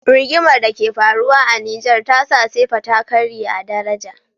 Rigimar da ke faruwa a nijar tasa sefa ta karye a daraja